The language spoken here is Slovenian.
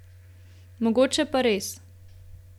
Mogoče pa res.